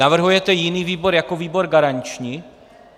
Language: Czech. Navrhujete jiný výbor jako výbor garanční?